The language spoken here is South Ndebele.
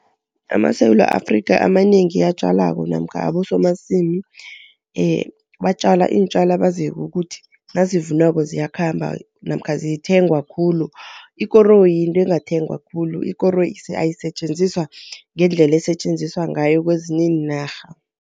AmaSewula Afrika amanengi atjalako namkha abosomasimu batjala iintjalo abaziko ukuthi nazivunwako ziyakhamba namkha zithengwa khulu. Ikoroyi yinto engathengwa khulu, ikoroyi ayisetjenziswa ngendlela esetjenziswa ngayo kwezinye iinarha.